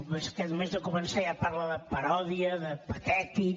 però és que només de començar ja parla de paròdia de patètic